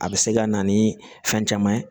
A bɛ se ka na ni fɛn caman ye